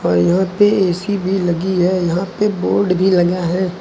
यहां पे ए_सी भी लगी है यहां पे बोर्ड भी लगा है।